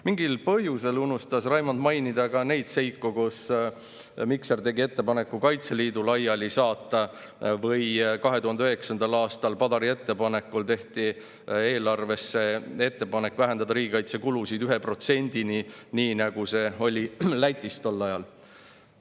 Mingil põhjusel unustas Raimond mainida ka neid seiku, et Mikser tegi ettepaneku Kaitseliit laiali saata ja et 2009. aastal tehti Padari ettepanekul eelarve kohta ettepanek vähendada riigikaitsekulusid 1%‑ni, nii nagu see oli tol ajal Lätis.